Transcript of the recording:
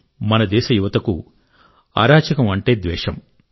మన దేశ యువతకు అరాచకం అంటే ద్వేషము